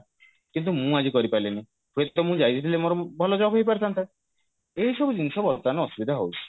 କିନ୍ତୁ ମୁଁ ଆଜି କରିପାରିଲିନି ହୁଏତ ମୁଁ ଯାଇଥିଲେ ମୋର ଭଲ job ହେଇପାରିଥାନ୍ତା ଏଇ ସବୁ ଜିନିଷ ବର୍ତମାନ ଅସୁବିଧା ହଉଛି